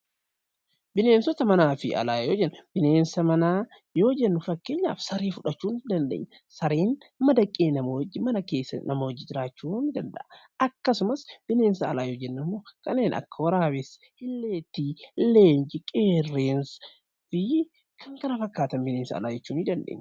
Bineensota manaa fi alaa yoo jennu, bineensa manaa yoo jennu fakkeenyaaf saree fudhachuu ni dandeenya. Sareen madaqee nama wajjin mana keessa nama wajjin jiraachuu ni danda'a. Akkasumas bineensa alaa yoo jennu immoo kanneen akka waraabessaa, illeettii, leenca, qeerransa fi kan kana fakkaatan bineensa alaa jechuu ni dandeenya.